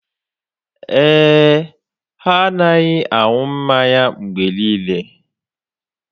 Ee e, ha na-anaghị anụ mmanya mgbe niile